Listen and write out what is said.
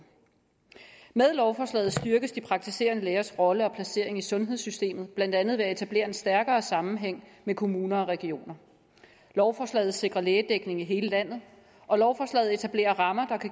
med lovforslaget styrkes de praktiserende lægers rolle og placering i sundhedssystemet blandt andet ved at etablere en stærkere sammenhæng med kommuner og regioner lovforslaget sikrer lægedækning i hele landet og lovforslaget etablerer rammer